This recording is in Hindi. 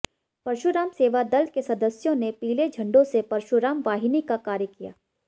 परशुराम सेवा दल के सदस्यों ने पीले झंडों से परशुराम वाहिनी का कार्य किया